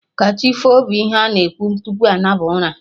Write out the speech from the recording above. Kachifo' bụ ihe ana ekwu tupu anaba ụra